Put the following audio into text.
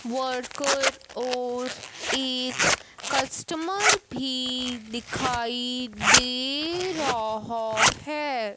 Worker और एक customer भी दिखाई दे रहा है।